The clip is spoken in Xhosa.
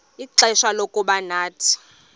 ixfsha lokuba nathi